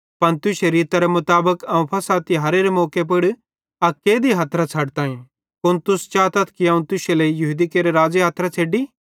पन तुश्शे रीतरे मुताबिक अवं फ़सह तिहारेरे मौके पुड़ अक कैदी हथरां छ़डताईं कुन तुस चातथ कि अवं तुश्शे लेइ यहूदी केरे राज़े हथरां छ़ेड्डी